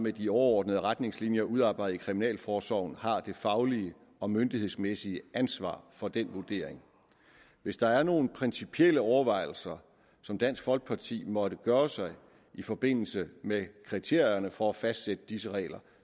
af de overordnede retningslinjer udarbejdet af kriminalforsorgen har det faglige og myndighedsmæssige ansvar for den vurdering hvis der er nogle principielle overvejelser som dansk folkeparti måtte gøre sig i forbindelse med kriterierne for at fastsætte disse regler